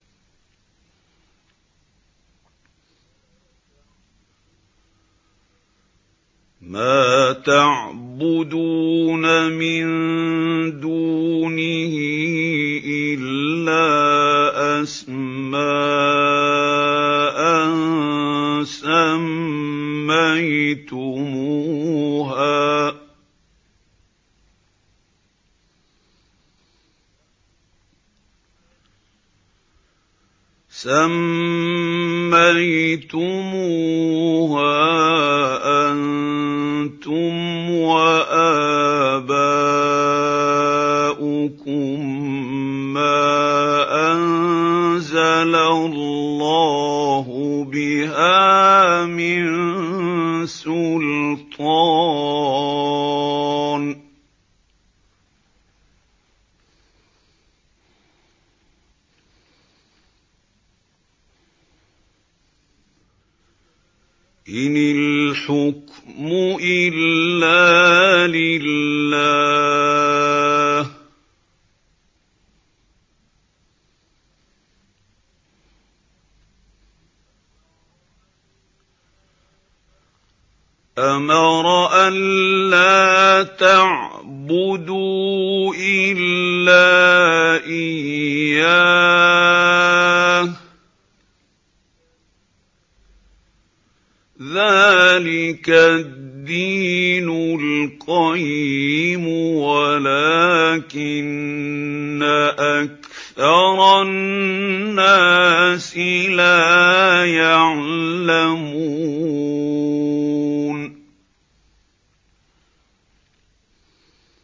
مَا تَعْبُدُونَ مِن دُونِهِ إِلَّا أَسْمَاءً سَمَّيْتُمُوهَا أَنتُمْ وَآبَاؤُكُم مَّا أَنزَلَ اللَّهُ بِهَا مِن سُلْطَانٍ ۚ إِنِ الْحُكْمُ إِلَّا لِلَّهِ ۚ أَمَرَ أَلَّا تَعْبُدُوا إِلَّا إِيَّاهُ ۚ ذَٰلِكَ الدِّينُ الْقَيِّمُ وَلَٰكِنَّ أَكْثَرَ النَّاسِ لَا يَعْلَمُونَ